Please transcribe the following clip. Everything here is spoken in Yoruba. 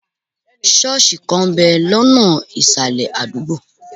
Ṣọ́ọ̀sì kan ń bẹ̀ lọ́nà ìsàlẹ̀ adugbo.